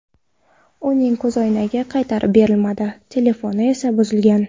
Uning ko‘zoynagi qaytarib berilmadi, telefoni esa buzilgan.